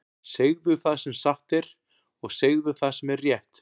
Segðu það sem satt er, og segðu það sem er rétt!